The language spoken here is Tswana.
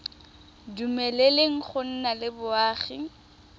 dumeleleng go nna le boagi